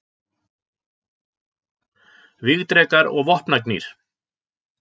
Vígdrekar og vopnagnýr.